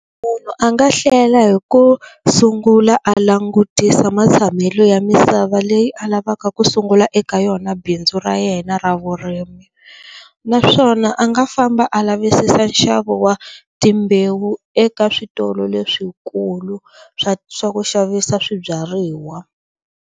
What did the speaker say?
A nga hlela hi ku sungula a langutisa matshamelo ya misava leyi a lavaka ku sungula eka yona bindzu ra yena ra vurimi naswona a nga famba a lavisisa nxavo wa timbewu eka switolo leswikulu swa swa ku xavisa swibyariwa.